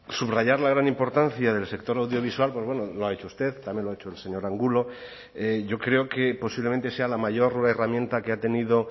subrayar la gran importancia del sector audiovisual pues bueno lo ha hecho usted también lo ha hecho el señor angulo yo creo que posiblemente sea la mayor herramienta que ha tenido